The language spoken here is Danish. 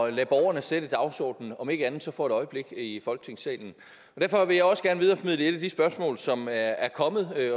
at lade borgerne sætte dagsordenen om ikke andet for et øjeblik i folketingssalen derfor vil jeg også gerne videreformidle et af de spørgsmål som er er kommet